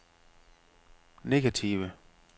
negative